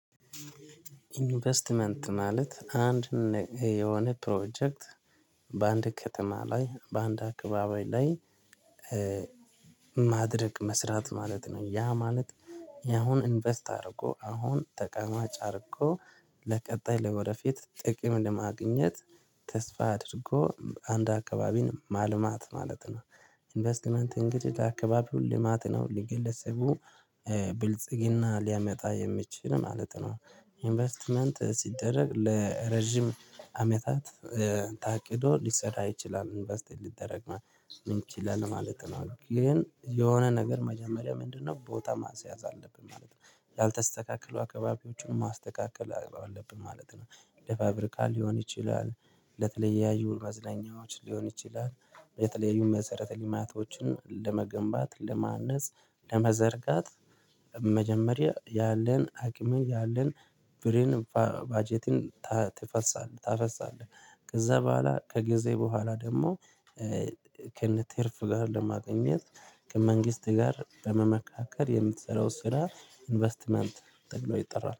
ኢንቨስትመንት ማለት አንድ የሆነ ፕሮጀክት በአንድ ከተማ ላይ በአንድ አካባቢ ላይ ማድረግ መስራት ማለት ነው። ያ ማለት ያሁን ኢንቨስት አድርጎ አሁን ተቀማጭ አድርጎ ለቀጣይ ለወደፊት ጥቅም ለማግኘት ተስፋ አድርጎ አንድ አካባቢን ማልማት ማለት ነው። ኢንቨስትመንት እንግዲህ አካባቢውን ልማት ነው ለግለሰቡ ብልጽግና ሊያመጣ የሚችል ማለት ነው። ኢንቨስትመንት ሲደረግ ለረጅም አመታት ታቅዶ ሊሰራ ይችላል ኢንቨስት ሊደረግ ነው የምንችለን ማለት ነው። ግን የሆነ ነገር መጀመሪያ ምንድነው? ቦታ ማስያዝ አለብን ማለት ነው ያልተስተካከሉ አካባቢዎችን ማስተካከል አለብን ማለት ነው። ለፋብሪካ ሊሆን ይችላል። ለተለያዩ መዝናኛዎች ሊሆን ይችላል። የተለያዩ መሰረተ ልማቶችን ለመገንባት ለማነጽ ለመዘርጋት መጀመሪያ ያለን አቅምን ያለን ብርን ባጀትን ታፈሳለህ ታፈሳለህ ከዛ በኋላ ከጊዜ በኋላ ደግሞ። ከነቴርፍ ጋር ለማግኘት ከመንግስት ጋር በመመካከር የምትሰራው ስራ ኢንቨስትመንት ተብሎ ይጠራል